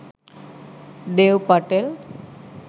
dev patel